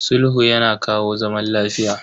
Sulhu yana kawo zaman lafiya.